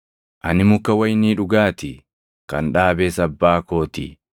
“Ani muka wayinii dhugaa ti; kan dhaabes Abbaa koo ti.